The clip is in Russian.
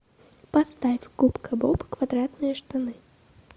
поставь губка боб квадратные штаны